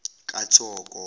kathoko